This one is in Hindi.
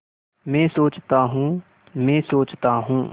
मैं सोचता हूँ मैं सोचता हूँ